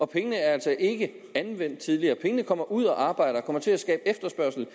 pengene er altså ikke anvendt tidligere pengene kommer ud at arbejde og kommer til at skabe efterspørgsel